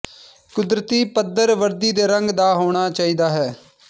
ਕੁਦਰਤੀ ਪੱਥਰ ਵਰਦੀ ਦੇ ਰੰਗ ਦਾ ਹੋਣਾ ਚਾਹੀਦਾ ਹੈ